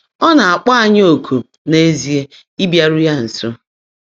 Ọ́ ná-ákpọ́ ányị́ ọ̀kụ̀ n’ézíe ị́bịárụ́ yá nsó.